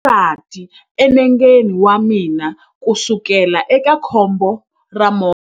Ndzi na xivati enengeni wa mina kusukela eka khombo ra movha.